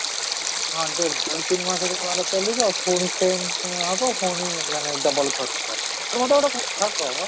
ହଁ, ଦେଖେ ଦୁଇ ତିନ ମାସ ଚାଲିବ ପୁଣି same ହେବ ପୁଣି ମାନେ double ଖର୍ଚ୍ଚ, ଆରେ ମୋତେ ଗୋଟେ କଥା କହ ତ phone ତ ଭାଙ୍ଗିଲାଣି ତୁ କଣ temporary glass ଲଗେଇ ନ ଥିଲୁ?